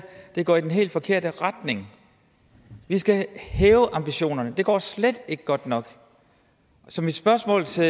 det går i den helt forkerte retning vi skal hæve ambitionerne det går slet ikke godt nok så mit spørgsmål til